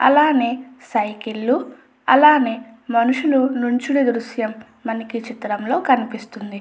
అలానే సైకిళ్లు అలానే మనుషులు దృశ్యం మనకి చిత్రంలో కనిపిస్తుంది. అలా అని--